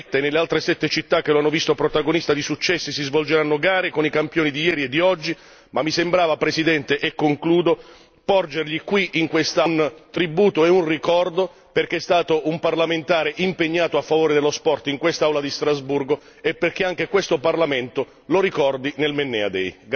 A Barletta e nelle altre sette città che l'hanno visto protagonista di successi si svolgeranno gare con i campioni di ieri e di oggi. Per concludere, signor Presidente, ho ritenuto doveroso porgergli qui un tributo e un ricordo perché è stato un parlamentare impegnato a favore dello sport in quest'Aula di Strasburgo e perché anche questo Parlamento lo ricordi nel Mennea day